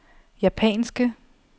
japanske